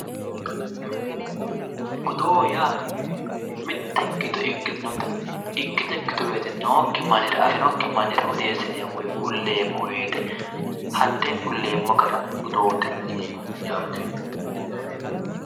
Oddo Yaa mite ikkito ikkitu woyite nooki mannira afinoki manira oddesinayi woy kulayi hatte kuleemo gara oddote yineemote yaate